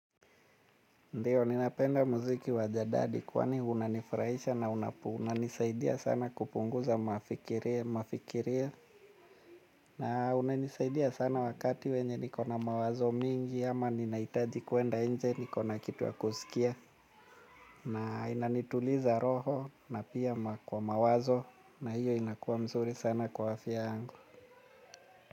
Ndiyo ni napenda muziki wajadadi kwani unanifuraisha na unanisaidia sana kupunguza mafikiria. Na unanisaidia sana wakati wenye niko na mawazo mingi ama ninahitaji kwenda nje niko na kitu ya kusikia. Na inanituliza roho na pia kwa mawazo na hiyo inakuwa mzuri sana kwa afya yangu.